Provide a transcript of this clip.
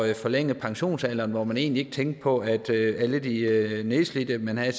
at forlænge pensionsalderen og at man egentlig ikke tænkte på alle de nedslidte man havde